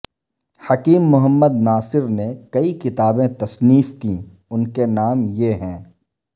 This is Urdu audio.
حکیم محمد ناصر نے کئی کتابیں تصنیف کیں ان کے نام یہ ہیں